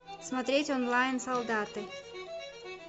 смотреть онлайн солдаты